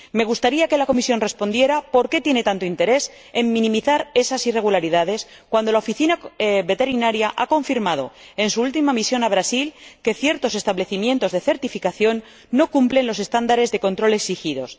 Me gustaría que la Comisión respondiera por qué tiene tanto interés en minimizar esas irregularidades, cuando la Oficina Veterinaria ha confirmado, en su última misión a Brasil, que ciertos establecimientos de certificación no cumplen los estándares de control exigidos.